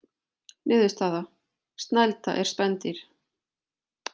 Niðurstaða: Snælda er spendýr.